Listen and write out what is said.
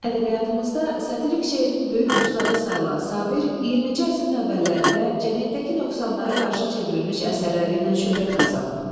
Ədəbiyyatımızda satirik şeirin böyük ustadı sayılan Sabir 20-ci əsrin əvvəllərində cəmiyyətdəki nöqsanlara qarşı çevrilmiş əsərləri ilə şöhrət qazanıb.